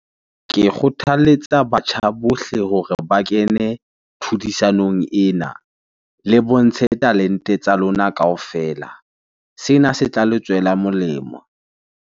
Ke kgothaletsa batjha bohle hore ba kene tlhodisanong ena le bontshe talente tsa lona kaofela. Sena se tla le tswela molemo.